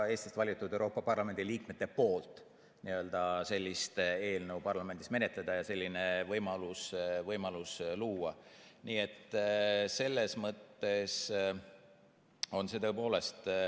Eestist valitud Euroopa Parlamendi liikmetelt ei ole tulnud ka survet sellist eelnõu Eesti parlamendis menetleda ja neid võimalusi luua.